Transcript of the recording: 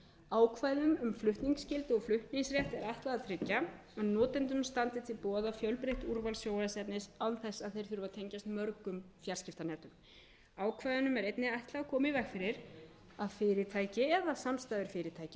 ákvæðum um flutningsskyldu og flutningsrétt er ætlað að tryggja að notendum standi til boða fjölbreytt úrval sjónvarpsefnis án þess að þeir þurfi að tengjast mörgum fjarskiptanetum ákvæðunum er einnig ætlað að koma í veg fyrir að fyrirtæki eða samstæður fyrirtækja sem hafa yfirráð